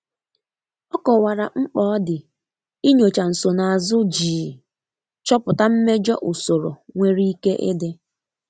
Ọ kowara mkpa ọdi inyocha nsonaazụ jii chọpụta mmejọ ụsorọ nwere ike idi.